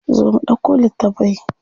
Zo mu ɗauko littafai.